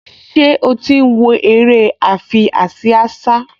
Ṣé ó ti ń wo eré àfiásíásá?